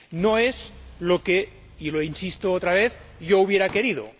No es lo que e insisto otra vez yo hubiera querido.